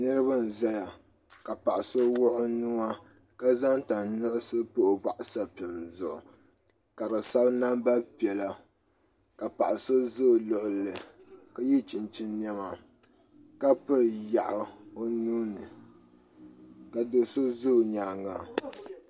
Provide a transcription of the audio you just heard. Niraba n ʒɛya ka paɣa so wuɣi o nuwa ka zaŋ tanpiɛlli pa o boɣu sapim zuɣu ka bi sabi namba piɛla ka paɣa so ʒɛ o luɣuli ka yɛ chinchin niɛma ka piri yaɣu o nuuni ka do so ʒɛ o nyaanga